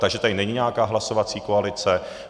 Takže tady není nějaká hlasovací koalice.